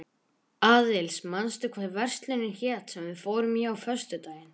Aðils, manstu hvað verslunin hét sem við fórum í á föstudaginn?